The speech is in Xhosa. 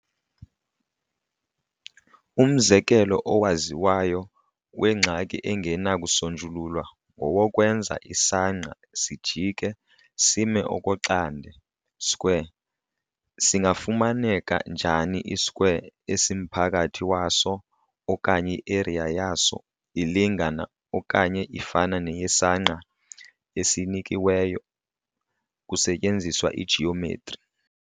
Umzekelo owaziwayo wengxaki engenakusonjululwa ngowokwenza isangqa sijike sime okoxande - square - singafumaneka njani i-square esimphakathi waso okanye i-area yaso ilingana okanye ifana neyesangqa esinikiweyo, kusetyenziswa i-geometri.